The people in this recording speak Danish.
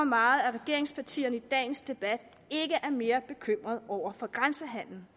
meget at regeringspartierne i dagens debat ikke er mere bekymrede over grænsehandelen